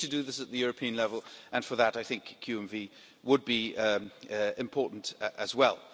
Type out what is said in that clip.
We need to do this at the European level, and for that I think QMV would be important as well.